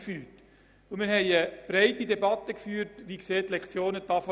Dieser Einführung ging eine breite Debatte über die zukünftige Lektionentafel voraus.